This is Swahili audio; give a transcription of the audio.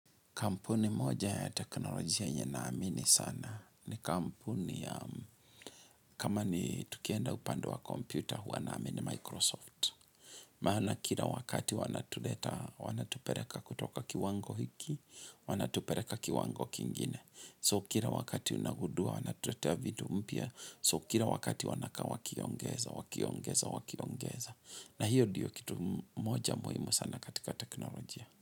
Kampuni moja ya teknolojia yenye naamini sana ni kampuni ya kama ni tukienda upande wa kompyuta huwa naamini Microsoft. Maana kila wakati wanatuleta wanatupeleka kutoka kiwango hiki, wanatupeleka kiwango kingine. So kila wakati unagundua wanatuletea vitu mpya, so kila wakati wanakaa wakiongeza, wakiongeza, wakiongeza. Na hiyo ndiyo kitu moja muhimu sana katika teknolojia.